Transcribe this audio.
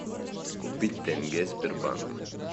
купить тенге сбербанк